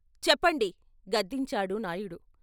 చెప్పండి " గద్దించాడు నాయుడు.